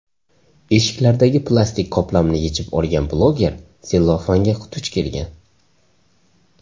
Eshiklardagi plastik qoplamni yechib olgan bloger sellofanga duch kelgan.